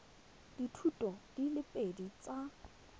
dithuto di le pedi tsa